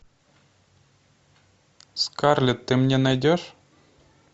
скарлетт ты мне найдешь